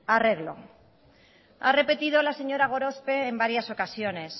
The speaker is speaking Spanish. arreglo ha repetido la señora gorospe en varias ocasiones